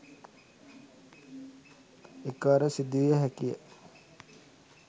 එකවර සිදුවිය හැකිය